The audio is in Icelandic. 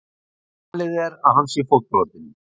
Talið er að hann sé fótbrotinn